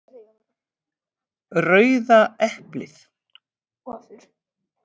Rauða eplið.